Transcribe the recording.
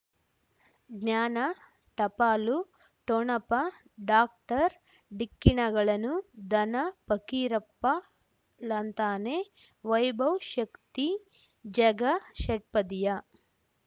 ಜ್ಞಾನ ಟಪಾಲು ಠೊಣಪ ಡಾಕ್ಟರ್ ಢಿಕ್ಕಿ ಣಗಳನು ಧನ ಫಕೀರಪ್ಪ ಳಂತಾನೆ ವೈಭವ್ ಶಕ್ತಿ ಝಗಾ ಷಟ್ಪದಿಯ